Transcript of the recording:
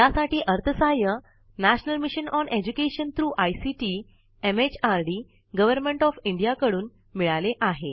यासाठी अर्थसहाय्य national mission on education through ICT MHRD government of Indiaयांच्याकडून मिळाले आहे